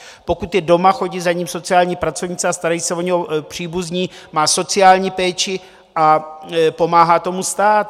Pokud je doma, chodí za ním sociální pracovníci a starají se o něho příbuzní, má sociální péči a pomáhá tomu stát.